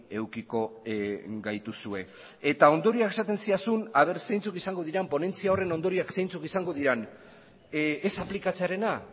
edukiko gaituzue eta ondorioak esaten zidazun ea zeintzuk izango diren ponentzia horren ondorioak zeintzuk izango diren ez aplikatzearena